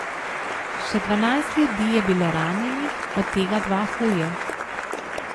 Še dvanajst ljudi je bilo ranjenih, od tega dva huje.